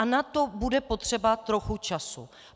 A na to bude potřeba trochu času.